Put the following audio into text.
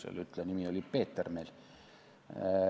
Selle ütleja nimi oli Peeter.